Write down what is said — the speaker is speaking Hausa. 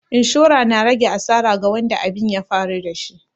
Inshora na rage asara ga wadda abin ya faru da shi.